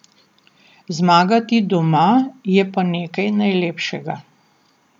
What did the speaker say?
Zmagati doma je pa nekaj najlepšega.